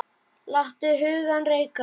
Látum hugann reika.